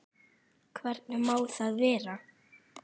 Hvernig má það vera?!